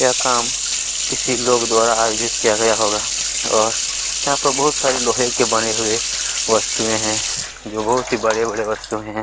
यह काम किसी लोग द्वारा आयोजित किया गया होगा और यहाँ पर बहुत से लोहै के बने हुए वस्तुए हैं जो बहुत ही बड़े-बड़े वस्तुए हैं।